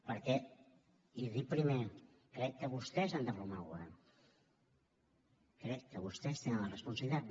perquè i ho he dit primer crec que vostès han de formar govern crec que vostès en tenen la responsabilitat